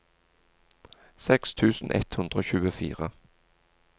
seks tusen ett hundre og tjuefire